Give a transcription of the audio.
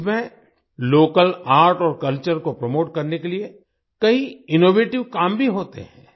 इसमें local art और culture को प्रोमोट करने के लिए कई इनोवेटिव काम भी होते हैं